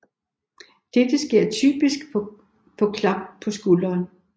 Dette sker typisk ved et klap på skulderen